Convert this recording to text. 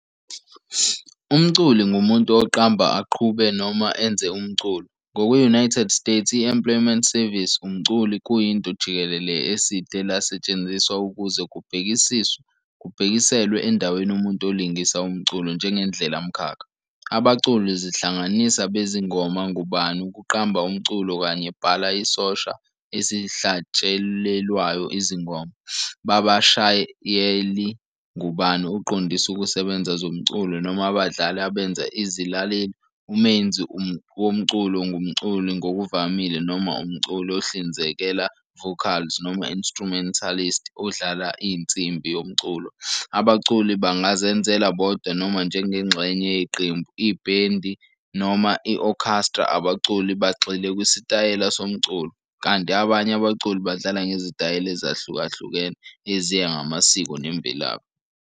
Umculi ngumuntu oqamba, aqhube, noma enze umculo. Ngokwe-United States i-Employment Service, "umculi" kuyinto jikelele eside lasetshenziswa ukuze kubhekiselwe endaweni umuntu olingisa umculo njengendlela mkhakha. Abaculi zihlanganisa bezingoma ngubani ukuqamba umculo kanye bhala isosha esihlatshelelwayo izingoma, babashayeli ngubani uqondise ukusebenza zomculo, noma abadlali abenza i izilaleli. Umenzi womculo ngumculi ngokuvamile noma umculi ohlinzeka vocals noma instrumentalist odlala a insimbi yomculo. Abaculi bangazenzela bodwa noma njengengxenye yeqembu, ibhendi noma i-orchestra. Abaculi bagxile kwisitayela somculo, kanti abanye abaculi badlala ngezitayela ezahlukahlukene eziya ngamasiko nemvelaphi.